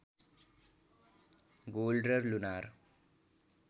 gold र lunar